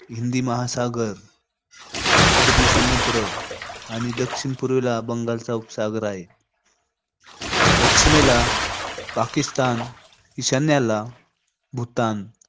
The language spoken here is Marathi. हिंदी महासागर अरबी समुद्र आणि दक्षिण-पूर्वेला बंगालचा उपसागर हाय. पश्चिमेला पाकीस्तान, ईशान्येला, भूतान